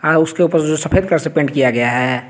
उसके ऊपर जो सफेद कलर से पेंट किया गया है।